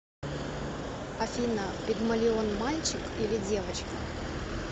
афина пигмалион мальчик или девочка